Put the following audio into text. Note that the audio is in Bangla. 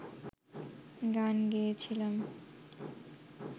গান গেয়েছিলাম